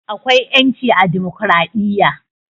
Akwai 'ƴanci a dimokradiyya.